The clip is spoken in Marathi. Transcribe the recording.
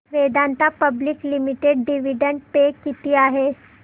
Vedanta public limited dividend pay किती आहे